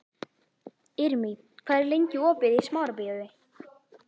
Irmý, hvað er lengi opið í Smárabíói?